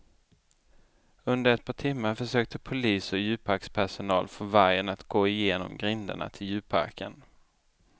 Under ett par timmar försökte polis och djurparkspersonal få vargen att gå in genom grindarna till djurparken.